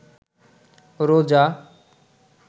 রোজা